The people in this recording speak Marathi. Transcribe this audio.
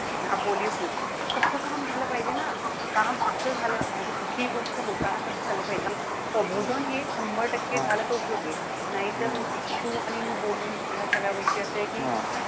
हा polio free ए. तसलं काम झालं पाहिजे ना. काम असं झालं, म्हणजे कि कुठलीही गोष्ट होताना कस झालं पाहिजे. प्रबोधन हे शंभर टक्के झालं तर उपयोगे. नाही तर तू आणि मी बोलून या सगळी गोष्टी असंय कि,